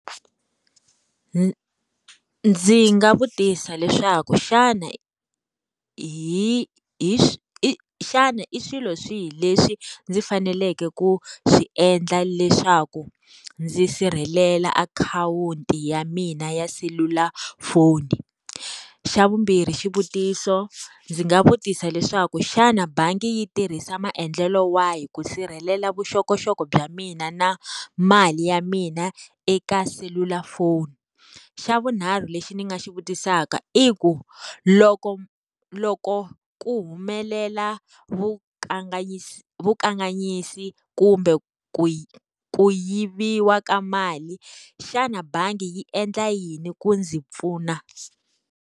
Ndzi nga vutisa leswaku xana hi hi xana i swilo swihi leswi ndzi faneleke ku swi endla leswaku ndzi sirhelela akhawunti ya mina ya selulafoni? Xa vumbirhi xivutiso, ndzi nga vutisa leswaku xana bangi yi tirhisa maendlelo wahi ku sirhelela vuxokoxoko bya mina na mali ya mina eka selulafoni? Xa vunharhu lexi ni nga xi vutisaka i ku, loko loko ku humelela wu vukanganyisi kumbe ku ku yiviwa ka mali, xana bangi yi endla yini ku ndzi pfuna?